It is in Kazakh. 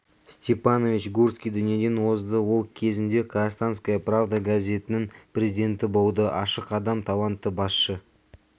степанович гурский дүниеден озды ол кезінде казахстанская правда газетінің президенті болды ашық адам талантты басшы